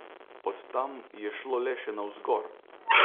Od tam je šlo le še navzgor!